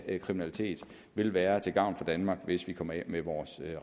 af kriminalitet vil være til gavn for danmark hvis vi kommer af med vores